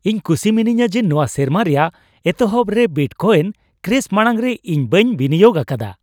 ᱤᱧ ᱠᱩᱥᱤ ᱢᱤᱱᱟᱹᱧᱟ ᱡᱮ ᱱᱚᱶᱟ ᱥᱮᱨᱢᱟ ᱨᱮᱭᱟᱜ ᱮᱛᱚᱦᱚᱵ ᱨᱮ ᱵᱤᱴᱠᱚᱭᱮᱱ ᱠᱨᱮᱥ ᱢᱟᱲᱟᱝ ᱨᱮ ᱤᱧ ᱵᱟᱹᱧ ᱵᱤᱱᱤᱭᱳᱜ ᱟᱠᱟᱫᱟ ᱾